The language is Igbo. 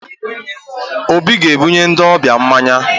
Obi ga-ebunye ndị ọbịa mmanya